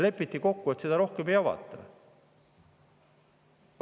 Lepiti kokku, et seda rohkem ei avata.